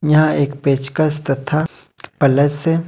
यहां एक पेचकस तथा प्लस है।